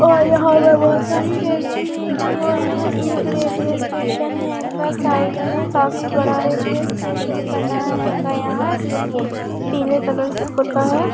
--और यहा पे बहुत सारी टैक्सी हैंगी और यहा एक रेलवे स्टेशन हैगा साइड में काफी बड़ा रेलवे स्टेशन बना हैगा यह जो की पिले कलर से पुता हैं।